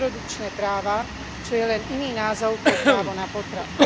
reprodukčné práva, čo je len iný názov pre právo na potrat.